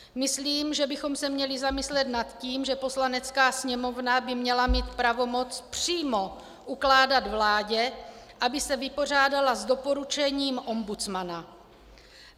Myslím, že bychom se měli zamyslet nad tím, že Poslanecká sněmovna by měla mít pravomoc přímo ukládat vládě, aby se vypořádala s doporučením ombudsmana.